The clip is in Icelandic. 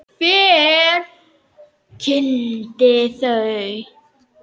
Og hver kynnti þau?